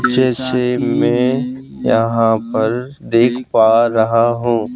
जैसे मैं यहां पर देख पा रहा हूं।